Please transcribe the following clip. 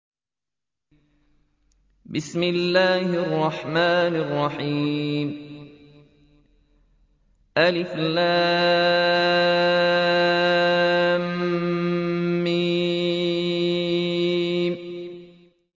الم